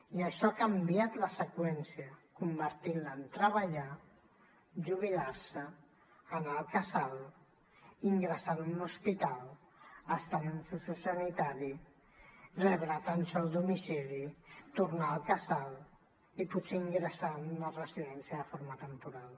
i això ha canviat la seqüència i l’ha convertit en treballar jubilar se anar al casal ingressar en un hospital estar en un sociosanitari rebre atenció al domicili tornar al casal i potser ingressar en una residència de forma temporal